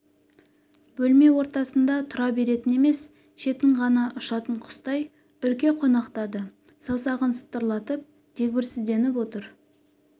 бөлме ортасында тұра беретін емес шетін ғана ұшатын құстай үрке қонақтады саусағын сытырлатып дегбірсізденіп отыр